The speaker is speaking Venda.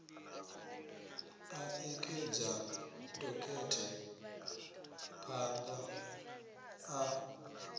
ḽa ṋekedza dokhethe phaan ḓa